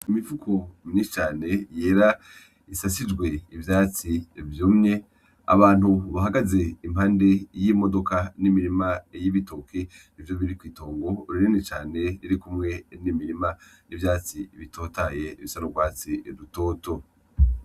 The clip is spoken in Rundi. Imifuko myinshi cane yera isasijwe ivyatsi vyumye, abantu bahagaze impande y'imodoka n'imirima y'ibitoki nivyo biri kw'itongo rinini cane ririkumwe n'imirima n'ivyatsi bitotahaye bifise n'urwatsi rutoto.